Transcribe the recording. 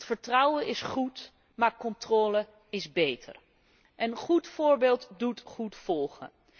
Want vertrouwen is goed, maar controle is beter en goed voorbeeld doet goed volgen.